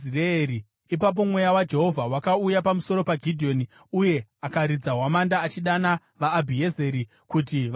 Ipapo mweya waJehovha wakauya pamusoro paGidheoni, uye akaridza hwamanda, achidana vaAbhiezeri kuti vamutevere.